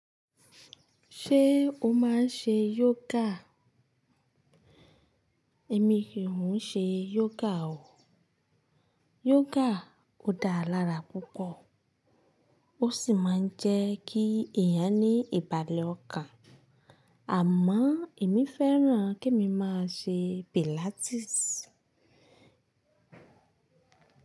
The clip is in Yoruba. Ṣé o máa ń ṣe yoga? Èmi kì ń ṣe yoga o. Yoga ò dáa lára púpọ̀ ó sì máa ń jẹ́ kí èèyàn ní ìbàlẹ̀ ọkàn. Àmọ́ èmi fẹ́ràn kí emi máa ṣe pilates.